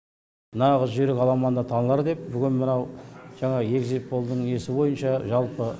нағыз жүйрік аламанда танылар деп бүгін мынау жаңағы эгзит полдың несі бойынша жалпы